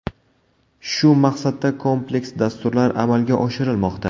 Shu maqsadda kompleks dasturlar amalga oshirilmoqda.